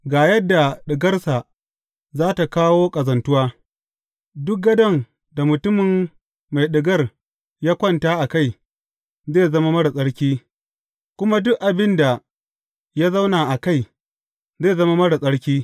Ga yadda ɗigarsa za tă kawo ƙazantuwa, Duk gadon da mutumin mai ɗigar ya kwanta a kai, zai zama marar tsarki, kuma duk abin da ya zauna a kai, zai zama marar tsarki.